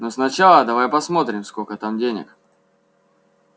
но сначала давай посмотрим сколько там денег